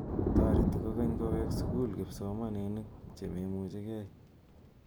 Tareti kokeny kowek sukul kipsomaninik chememuchigei